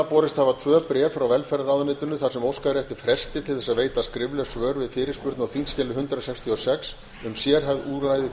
borist hafa tvö bréf frá velferðarráðuneytinu þar sem óskað er eftir fresti til að veita skrifleg svör við fyrirspurn á þingskjali hundrað sextíu og sex um sérhæfð úrræði